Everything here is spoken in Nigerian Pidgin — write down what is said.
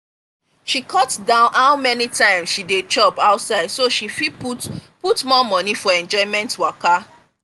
she cut down how many times she dey chop outside so she fit put put more money for enjoyment waka.